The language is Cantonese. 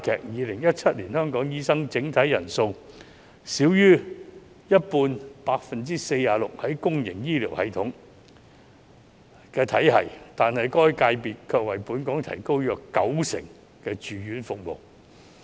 2017年香港的醫生整體人數中，少於一半任職公營醫療體系，但該界別卻為本港提供約九成的住院服務。